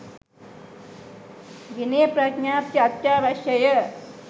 විනය ප්‍රඥප්ති අත්‍යවශ්‍යය.